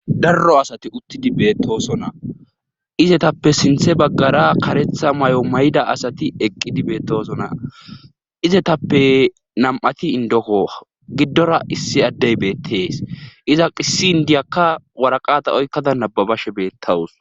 darro asati uttidi beettosona izetappe sinthe baggara karetha may7o mayda asati eqqidi beettosona izetappe nam7ati indoko giddora issi addey beettees iza qissi indiyakka waraqata oykkada nababashe beettawus